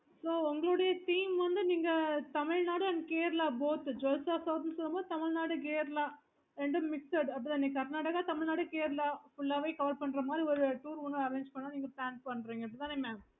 charges எங்கெல்லாம் போறோம் உம் உம் yes